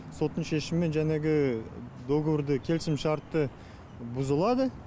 соттың шешімімен жәнегі договорды келісімшарты бұзылады